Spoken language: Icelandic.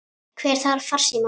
Hver þarf farsíma?